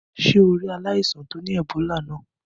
Sé o rí ri aláìsàn to ni Ebola náà?